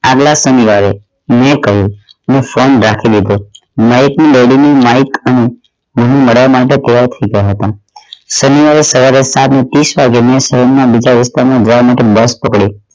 આગલા સુધી આવ્યો મૈં કહ્યું ફોન રાખી દીધો માઇક ની daddy ની માઇક અને મળવા માટે ત્યાર થઈ ગયા હતા શનિવાર એ સવારે સાત ને તીશ વાગે મૈં વિસ્તાર માં જવા માટે બસ પકડી